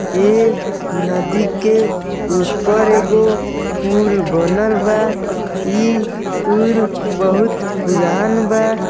ई नदी के ऊपर एगो पुल बनल बा। ई पुल बहुत पुरान बा।